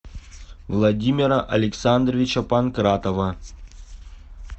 владимира александровича панкратова